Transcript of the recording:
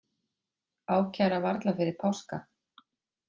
Ákæra varla fyrir páska